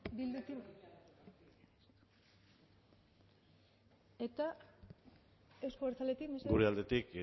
bildutik jon iñarritu eta euzko abertzaletik gure aldetik